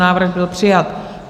Návrh byl přijat.